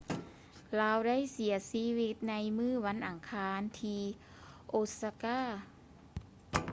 ລາວໄດ້ເສຍຊີວິດໃນມື້ວັນອັງຄານທີ່ ໂອຊາກາ osaka